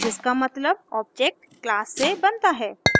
जिसका मतलब object class से बनता है